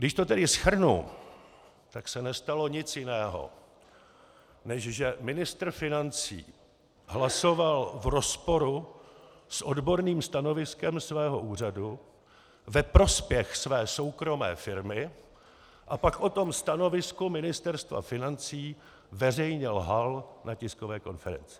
Když to tedy shrnu, tak se nestalo nic jiného, než že ministr financí hlasoval v rozporu s odborným stanoviskem svého úřadu ve prospěch své soukromé firmy a pak o tom stanovisku Ministerstva financí veřejně lhal na tiskové konferenci.